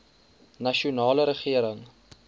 nasionale regering